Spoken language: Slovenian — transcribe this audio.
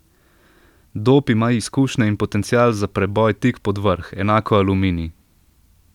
Dob ima izkušnje in potencial za preboj tik pod vrh, enako Aluminij.